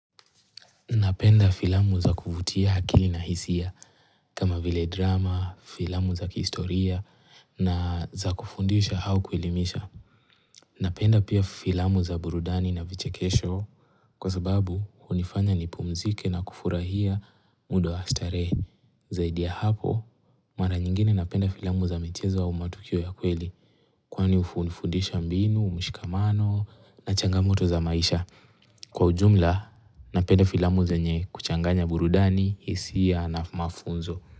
Napenda filamu za kuvutia akili na hisia, kama vile drama, filamu za kihistoria, na za kufundisha au kuelimisha. Napenda pia filamu za burudani na vichekesho, kwa sababu hunifanya nipumzike na kufurahia muda wa starehe. Zaidi ya hapo, mara nyingine napenda filamu za michezo au matukio ya kweli, kwani hunifundisha mbinu, mshikamano, na changamoto za maisha. Kwa ujumla, napenda filamu zenye kuchanganya burudani, hisia na mafunzo.